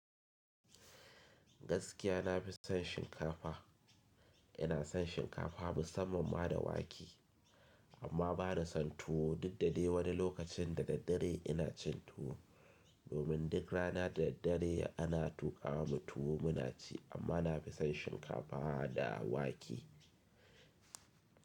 Gaskiya nafi son shinkafa. Ina son shinkafa musamman ma da wake amma bana son tuwo. Dukda dai wani lokacin da daddare ina cin tuwo domin duk rana da daddare ana tuƙa ma mu tuwo muna ci amma nafi son shinkafa da wake.